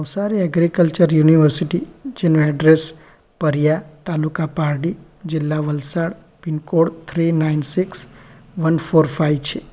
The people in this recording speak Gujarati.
સારી એગ્રીકલ્ચર યુનિવર્સિટી જેનું એડ્રેસ પરિયા તાલુકા પારડી જિલ્લા Valsad pincode three nine six one four five છે.